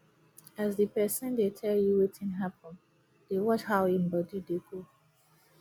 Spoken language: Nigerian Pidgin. as di pesin dey tel yu wetin hapun dey watch how em body dey do